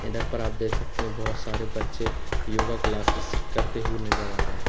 इधर पर आप देख सकते हैं बहोत सारे बच्चे योगा क्लासेस करते हुए नजर आ रहा है।